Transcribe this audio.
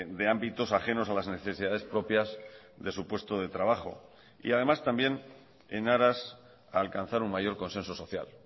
de ámbitos ajenos a las necesidades propias de su puesto de trabajo y además también en aras a alcanzar un mayor consenso social